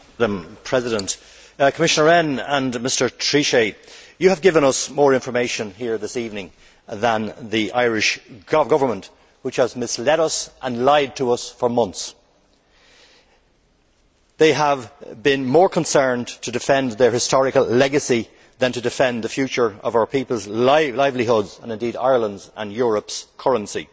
Madam President, Commissioner Rehn and Mr Trichet have given us more information here this evening than the Irish Government, which has misled us and lied to us for months. They have been more concerned to defend their historical legacy than to defend the future of our people's livelihoods, and indeed Ireland's and Europe's currency.